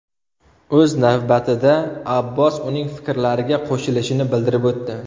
O‘z navbatida, Abbos uning fikrlariga qo‘shilishini bildirib o‘tdi.